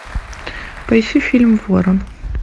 поищи фильм ворон